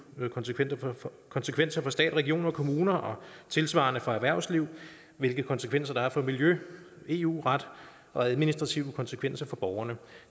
konsekvenser konsekvenser for stat regioner og kommuner og tilsvarende for erhvervslivet hvilke konsekvenser der er for miljø eu ret og administrative konsekvenser for borgerne